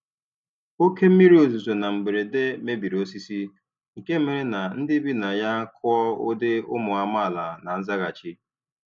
Oke mmiri ozuzo na mberede mebiri osisi, nke mere ka ndị bi na ya kụọ ụdị ụmụ amaala na nzaghachi.